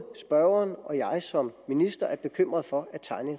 spørgeren og jeg som minister er bekymrede for